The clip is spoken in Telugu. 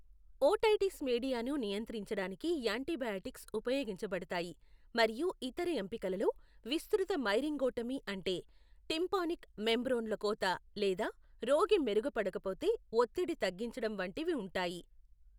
ఓటైటిస్ మీడియాను నియంత్రించడానికి యాంటీబయాటిక్స్ ఉపయోగించబడతాయి, మరియు ఇతర ఎంపికలలో విస్తృత మైరింగోటమీ అంటే టిమ్పానిక్ మెంబ్రేన్లో కోత లేదా రోగి మెరుగుపడకపోతే ఒత్తిడి తగ్గించడం వంటివి ఉంటాయి.